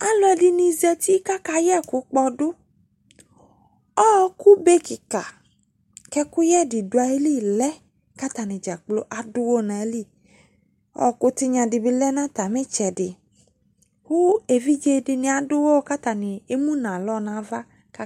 Alɔde de zata mo aka yeku kpɔduƆkube kika ko ɛkuyɛ de do ayili lɛ ko atane dzakplo ado uwɔ no ayili Ɔku tenya de be lɛ no atame tsɛde ko evidzse de ado uwɔ ko emu no alɔ no ava ka